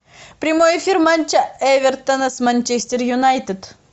прямой эфир матча эвертона с манчестер юнайтед